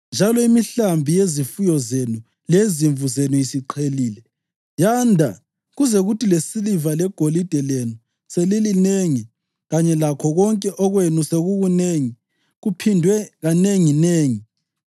njalo imihlambi yezifuyo zenu leyezimvu zenu isiqhelile yanda kuze kuthi lesiliva legolide lenu selilinengi kanye lakho konke okwenu sekukunengi kuphindwe kanenginengi,